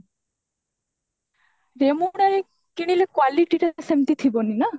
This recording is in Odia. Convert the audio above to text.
ରେମୁଣା ରେ କିଣିଲେ quality ଟା ସେମିତି ଥିବନି ନା